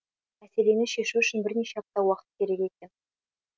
мәселені шешу үшін бірнеше апта уақыт керек екен